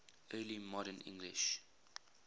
early modern english